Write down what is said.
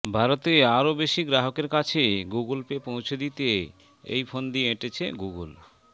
ভারতে আরও বেশি গ্রাহকের কাছে গুগল পে পৌঁছে দিতে এই ফন্দি এঁটেছে গুগল